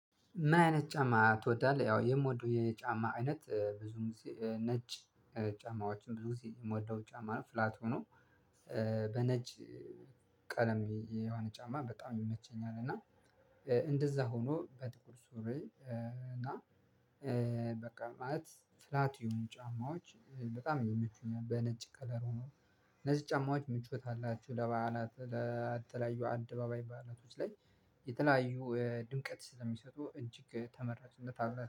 ምን አይነት ጫማ ትወዳለህ? ያው የምወደው የጫማ አይነት ብዙውን ጊዜ ነጭ ጫማዎችን ብዙ ጊዜ የምወደው ጫማ ነው ፍላት ሆኖ በነጭ ቀለም የሆነ ጫማ በጣም ይመቸኛል። እና እንደዛ ሆኖ በጥቁር ሱሪ እና በቃ ማለት ፍላት የሆኑ ጫማዎች በጣም ይመቹኛል። በነጭ ከለር ሆኖ እነዚህ ጫማዎች ምቾት አላቸው። ለበዓላት ለተለያዩ አደባባይ በዓላቶች ላይ የተለያዩ ድምቀት ስለሚሰጡ እጅግ ተመራጭነት